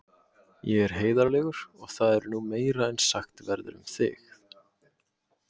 Ég er heiðarlegur og það er nú meira en sagt verður um þig.